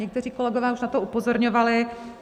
Někteří kolegové už na to upozorňovali.